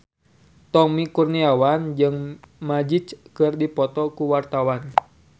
Tommy Kurniawan jeung Magic keur dipoto ku wartawan